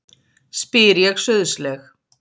spyr ég sauðsleg.